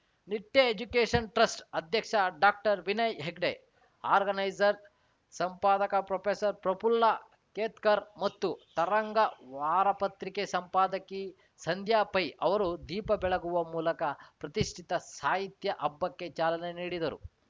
ನಿಟ್ಟೆಎಜುಕೇಶನ್‌ trust ಅಧ್ಯಕ್ಷ ಡಾಕ್ಟರ್ವಿನಯ್‌ Hegde organiser ಸಂಪಾದಕ ಪ್ರೊಫೇಸರ್ಪ್ರಫುಲ್ಲ ಕೇತ್ಕರ್‌ ಮತ್ತು ತರಂಗ ವಾರಪತ್ರಿಕೆ ಸಂಪಾದಕಿ ಸಂಧ್ಯಾ ಪೈ ಅವರು ದೀಪ ಬೆಳಗುವ ಮೂಲಕ ಪ್ರತಿಷ್ಠಿತ ಸಾಹಿತ್ಯ ಹಬ್ಬಕ್ಕೆ ಚಾಲನೆ ನೀಡಿದರು